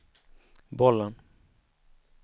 bollen